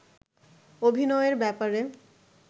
অভিনয়ের ব্যাপারে